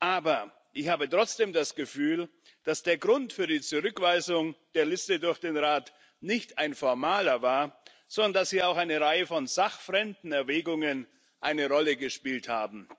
Aber ich habe trotzdem das Gefühl, dass der Grund für die Zurückweisung der Liste durch den Rat nicht ein formaler war, sondern dass hier auch eine Reihe von sachfremden Erwägungen eine Rolle gespielt hat.